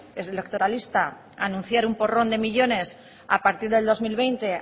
electoralista anunciar un porrón de millónes a partir del dos mil veinte